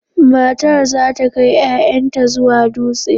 Matar za ta kai 'ya'yanta zuwa dutse.